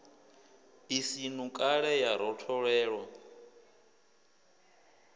i si ṋukale ya rotholelwa